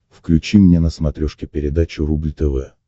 включи мне на смотрешке передачу рубль тв